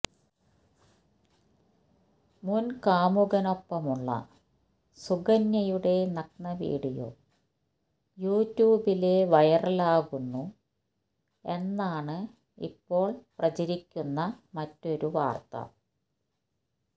മുന് കാമുകനൊപ്പമുള്ള സുകന്യയുടെ നഗ്നവീഡിയോ യൂട്യൂബില് വൈറലാകുന്നു എന്നാണ് ഇപ്പോള് പ്രചരിയ്ക്കുന്ന മറ്റൊരു വാര്ത്ത